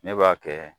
Ne b'a kɛ